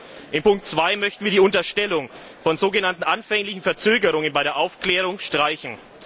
In Ziffer 2 möchten wir die Unterstellung von so genannten anfänglichen Verzögerungen bei der Aufklärung streichen.